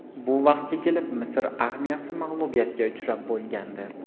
Bu vaqtga kelib, Misr armiyasi mag‘lubiyatga uchrab bo‘lgandi.